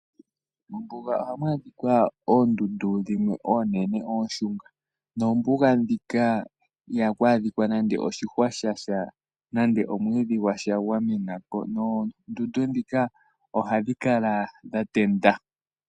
Mombuga ohamu adhika oondundu oonene ooshunga. Ihamu adhika iimeno yasha yamena nenge omwiidhi. Oondundu ohadhi kala dhatenda.